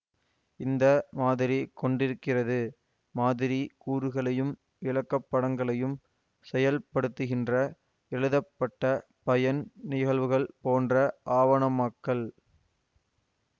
இந்த மாதிரி கொண்டிருக்கிறது மாதிரி கூறுகளையும் விளக்கப்படங்களையும் செயல்படுத்துகின்ற எழுதப்பட்ட பயன் நிகழ்வுகள் போன்ற ஆவணமாக்கல்